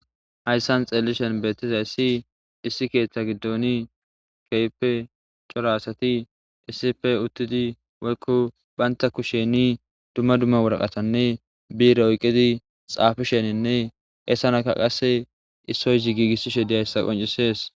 hayssan xeelishen beettizayssi issi keeththa giddooni keype cora asati issipe uttidi woykko baynta kusheni dumma dumma woraqatanne biira oyqqidi xaafisheninne essanaka qasse issoyzi giigissishe dihayssa qoncisees